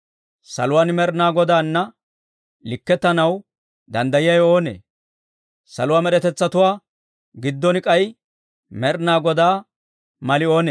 Saluwaan Med'inaa Godaana likkettanaw danddayiyaawe oonee? Saluwaa med'etetsatuwaa giddon k'ay Med'inaa Godaa mali oonee?